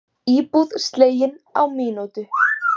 Íbúð slegin á mínútu